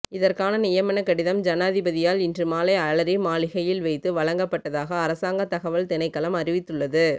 இதற்கான நியமனக் கடிதம் ஜனாதிபதியால் இன்று மாலை அலரி மாளிகையில் வைத்து வழங்கப்பட்டதாக அரசாங்க தகவல் திணைக்களம் அறிவித்துள்ளது